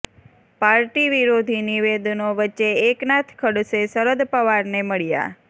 party વિરોધી નિવેદનો વચ્ચે એકનાથ ખડસે શરદ પવારને મળ્યા